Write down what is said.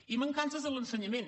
i mancances en l’ensenyament